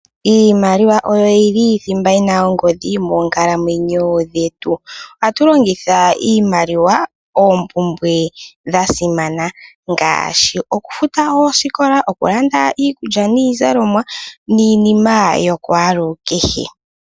Iimaliwa oyo yili dhimba yina ongodhi moonkalamwenyo dhetu. Oha tulongitha iimaliwa koompumbwe dha simana ngaashi okulanda omagumbo ano futa oosikola, oku landa iikulya niizalomwa niinima ya kwaalukehe.